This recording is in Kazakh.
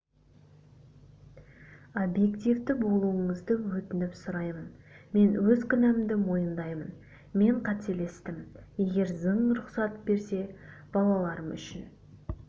объективті болуыңызды өтініп сұраймын мен өз кінәмді мойындаймын мен қателестім егер заң рұқсат берсе балаларым үшін